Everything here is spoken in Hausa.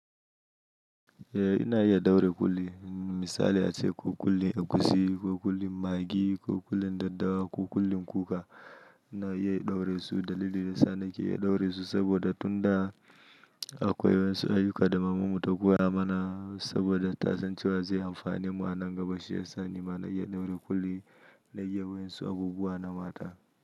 Eh ina iya ɗaure kulli misali ace ko kullin egusi, ko kullin maggi, ko kullin daddawa ko kullin kuka ina iya ɗaure su dalilin dayasa nake iya ɗaure su saboda tun da akwai wasu ayyuka da mamanmu ta koya mana saboda ta san cewa zai amfane mu a nan gaba shi ya sani mana iya ɗaure ƙulli na yi wayan su a bubuwa na mata.